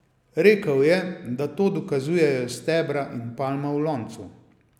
Rekel je, da to dokazujejo stebra in palma v loncu.